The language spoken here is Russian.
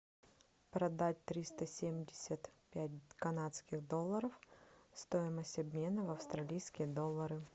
продать триста семьдесят пять канадских долларов стоимость обмена в австралийские доллары